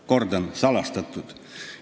Kordan: salastatud.